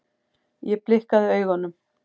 Ég blikkaði augunum.